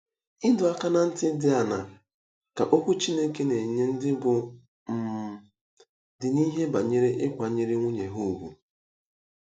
Ịdọ aka ná ntị dị aṅaa ka Okwu Chineke na-enye ndị bụ́ um di n’ihe banyere ịkwanyere nwunye ùgwù?